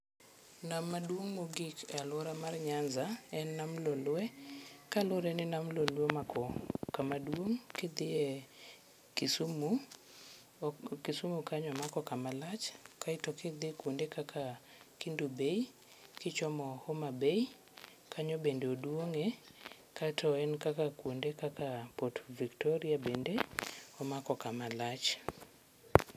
Nam maduong' mogik e aluora mar Nyanza en nam Lolwe kaluwore ni nam Lolwe omako kama duong' ka idhi Kisumu, Kisumu kanyo omako kama lach, kae to kidhi kuonde kaka Kendu Bay kichomo Homa Bay kanyo bende oduong'ie kato en kaka kuonde kaka Port Victoria bende omako kama lach.